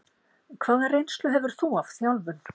Hvaða reynslu hefur þú af þjálfun?